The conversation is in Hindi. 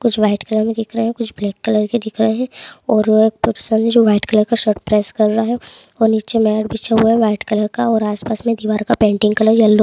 कुछ व्हाइट कलर मे दिख रहा है कुछ ब्लैक कलर के दिख रहा है और-र कुछ व्हाइट कलर का प्रस कर रहा है। और नीचे मेट विछा हूआ व्हाइट कलर का और आसपास में दीवार का पेंटिंग कलर ईयोलो --